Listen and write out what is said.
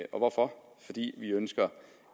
og hvorfor fordi vi ønsker